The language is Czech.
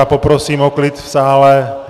A poprosím o klid v sále.